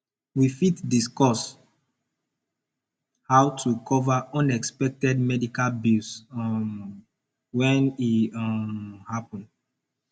we fit discuss how to cover unexpected medical bills um when e um happen